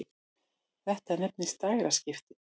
Þetta nefnist dægraskipti.